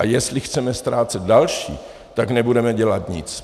A jestli chceme ztrácet další, tak nebudeme dělat nic.